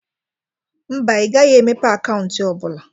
Mba, I gaghi emepe akaunti ọ bụla.